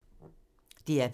DR P3